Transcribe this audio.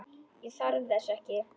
Ég þarf þess ekki.